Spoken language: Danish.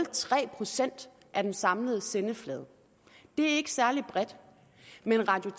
procent af den samlede sendeflade det er ikke særlig bredt men radio